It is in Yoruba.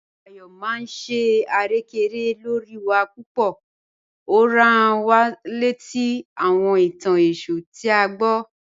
Ayọ maa n ṣe arẹkẹrẹkẹ lọ́ri wa pupọ̀, o rán wá lẹtí àwọn ìtàn Èṣù tí a gbọ̀."